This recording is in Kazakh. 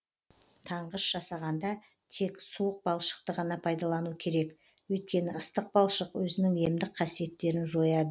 таңғыш жасағанда тек суық балшықты ғана пайдалану керек өйткені ыстық балшық өзінің емдік қасиеттерін жояды